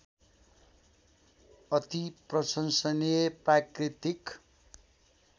अति प्रशंसनीय प्राकृतिक